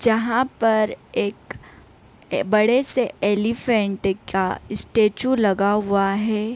जहा पर एक बढ़े से एलीफैंट का स्टेचू लगा हुआ है ।